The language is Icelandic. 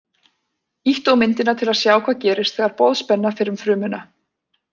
Ýttu á myndina til að sjá hvað gerist þegar boðspenna fer um frumuna.